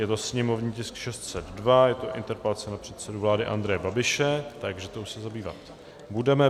Je to sněmovní tisk 602, je to interpelace na předsedu vlády Andreje Babiše, takže tou se zabývat budeme.